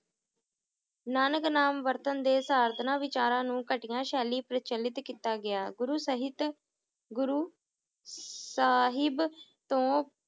ਨਾਨਕ ਨਾਮ ਵਰਤਣ ਦੇ ਸਾਰਧਨਾਂ ਵਿਚਾਰਾਂ ਨੂੰ ਘਟੀਆ ਸ਼ੈਲੀ ਪ੍ਰਚਲਿਤ ਕੀਤਾ ਗਿਆ ਗੁਰੂ ਸਹਿਤ, ਗੁਰੂ ਸਾਹਿਬ ਤੋਂ